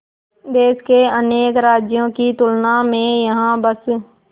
देश के अनेक राज्यों की तुलना में यहाँ बस